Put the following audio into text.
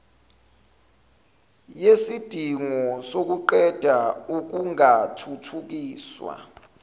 yesidingo sokuqeda ukungathuthukiswa